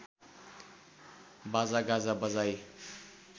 बाजागाजा बजाई